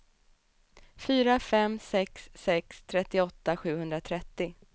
fyra fem sex sex trettioåtta sjuhundratrettio